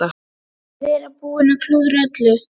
Vera búinn að klúðra öllu.